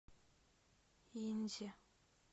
инзе